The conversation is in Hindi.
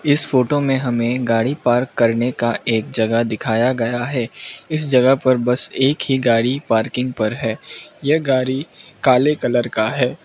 इस फोटो में हमें गाड़ी पार्क करने का एक जगह दिखाया गया है इस जगह पर बस एक ही गाड़ी पार्किंग पर है यह गाड़ी काले कलर का है।